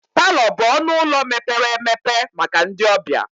Palọ bụ ọnụ ụlọ mepere emepe maka ndị ọbịa.